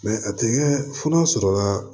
Mɛ a tɛ kɛ fo n'a sɔrɔla